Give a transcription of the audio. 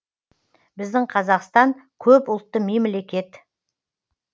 біздің қазақстан көп ұлтты мемлекет